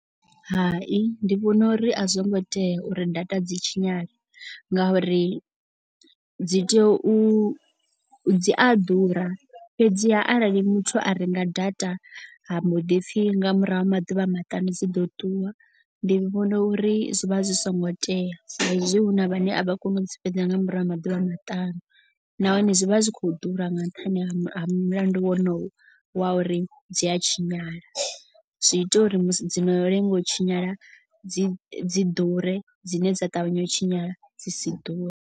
Hai ndi vhona uri a zwo ngo tea uri data dzi tshinyale. Ngauri dzi tea u dzi a ḓura fhedziha arali muthu a renga data ha mboḓi pfhi nga murahu ha maḓuvha maṱanu dzi ḓo ṱuwa. Ndi vhona uri zwi vha zwi songo tea sa izwi hu na vhane a vha koni u dzi fhedza nga murahu ha maḓuvha maṱanu. Nahone zwi vha zwi khou ḓura nga nṱhani ha mulandu wonoyu wa uri dzi a tshinyala. Zwi ita uri musi dzi no lenga u tshinyala dzi dzi ḓure dzine dza ṱavhanya u tshinyala dzi si ḓure.